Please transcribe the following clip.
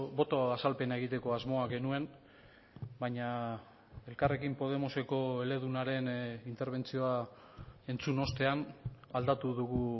boto azalpena egiteko asmoa genuen baina elkarrekin podemoseko eledunaren interbentzioa entzun ostean aldatu dugu